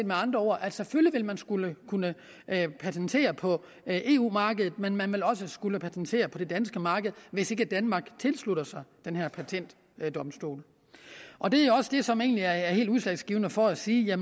med andre ord at selvfølgelig vil man skulle kunne patentere på eu markedet men man vil også skulle patentere på det danske marked hvis ikke danmark tilslutter sig den her patentdomstol og det er også det som egentlig er helt udslagsgivende for at sige at